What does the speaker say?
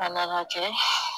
A nana kɛ